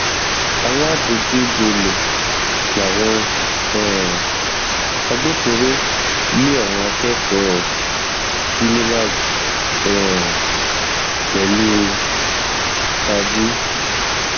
aládojúbolẹ làwọn um agbófinró lé àwọn akẹkọọ unilag um pẹlú tajú